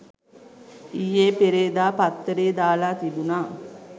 ඊයේ පෙරේදා පත්තරේ දාලා තිබුණා